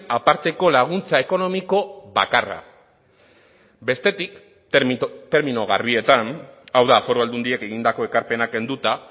aparteko laguntza ekonomiko bakarra bestetik termino garbietan hau da foru aldundiek egindako ekarpena kenduta